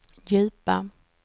djupa